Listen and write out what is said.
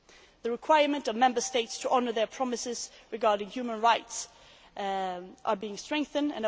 The requirement for Member States to honour their promises regarding human rights is being strengthened.